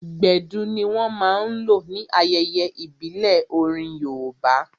Gbedu ní wọ́n máa n lò ní ayẹyẹ ìbílẹ̀ orin yoòbá